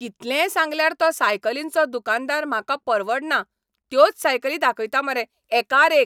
कितलेंय सांगल्यार तो सायकलींचो दुकानदार म्हाका परवडना त्योच सायकली दाखयता मरे एकार एक.